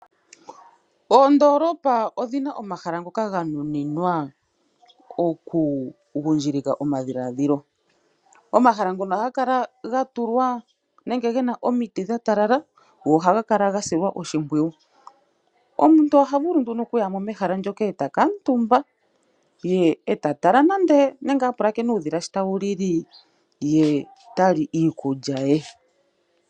Oondoolopa odhi na omahala ngoka ga nuninwa okugundjilika omadhiladhilo. Omahala ngono ohaga kala ga tulwa nenge ge na omiti dha talala, go ohaga kala ga silwa oshimpwiyu. Omuntu oha vulu nduno okuya mo mehala moka e ta kuutumba nenge ta kala a pulakena uudhila shi tawu lili ye ta li iikulya ye.